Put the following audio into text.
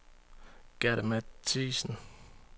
Gerda Mathiassen